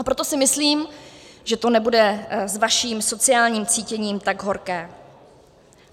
A proto si myslím, že to nebude s vaším sociálním cítěním tak horké.